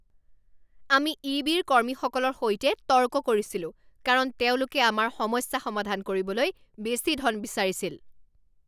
আমি ই বিৰ কৰ্মীসকলৰ সৈতে তৰ্ক কৰিছিলোঁ কাৰণ তেওঁলোকে আমাৰ সমস্যা সমাধান কৰিবলৈ বেছি ধন বিচাৰিছিল